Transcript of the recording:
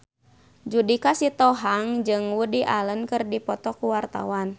Judika Sitohang jeung Woody Allen keur dipoto ku wartawan